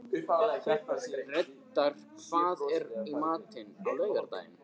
Reidar, hvað er í matinn á laugardaginn?